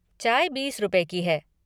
चाय बीस रुपए की है।